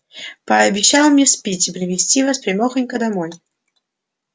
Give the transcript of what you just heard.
пообещал мисс питти привезти вас прямёхонько домой